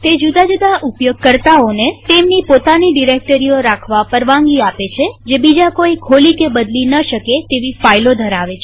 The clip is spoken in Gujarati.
તે જુદા જુદા ઉપયોગકર્તાઓને તેમની પોતાની ડિરેક્ટરીઓ રાખવા પરવાનગી આપે છેજે બીજા કોઈ ખોલી કે બદલી ન શકે તેવી ફાઈલો ધરાવે છે